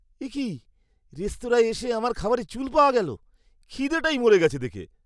একি, রেস্তোরাঁয় এসে আমার খাবারে চুল পাওয়া গেল। খিদেটাই মরে গেছে দেখে!